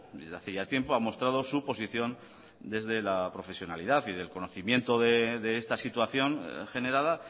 desde hace ya tiempo ha mostrado su posición desde la profesionalidad y del conocimiento de esta situación generada